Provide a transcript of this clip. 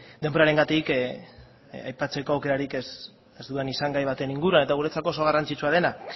denborarengatik aipatzeko aukerarik ez dudan izan gai baten inguruan eta guretzako oso garrantzitsua dena